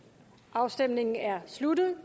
afstemningen er sluttet